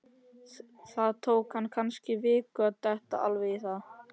Það tók hann kannski viku að detta alveg í það.